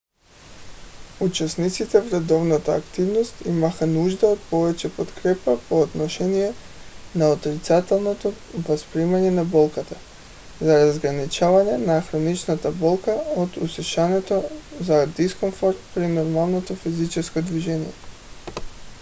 участниците в редовната активност имаха нужда от повече подкрепа по отношение на отрицателното възприемане на болката за разграничаване на хроничната болка от усещането за дискомфорт при нормалното физическо движение